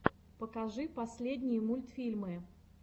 покажи последние мультфильмы